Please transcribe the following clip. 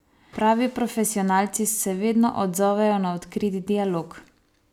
Pravi profesionalci se vedno odzovejo na odkrit dialog.